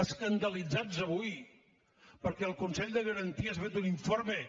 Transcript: escandalitzats avui perquè el consell de garanties ha fet un informe